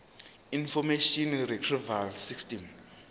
information retrieval system